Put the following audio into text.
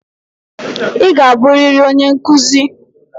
Ị ga-abụrịrị onye nkuzi.